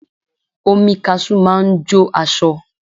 Omi kaṣú máa ń jó aṣọ